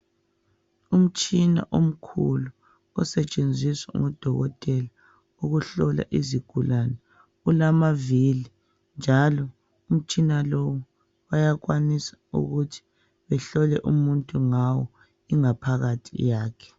Umtshina omkhulu osetshenziswa ngudokotela ukuhlola izigulane. Ulamavili njalo umtshina lowu bayakwanisa ukuthi behlole umuntu ngawo ingaphakathi yakhe.